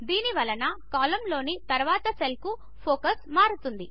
దీని వలన కాలంలోని తరువాతి సెల్కు ఫోకస్ మారుతుంది